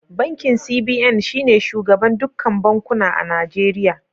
Bankin CBN shi ne shugaban dukkan bankuna a Nijeriya.